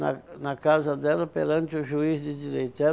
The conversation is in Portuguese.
na na casa dela perante o juiz de direito. Eh